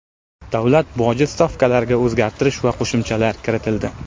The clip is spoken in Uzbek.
Davlat boji stavkalariga o‘zgartirish va qo‘shimchalar kiritildi.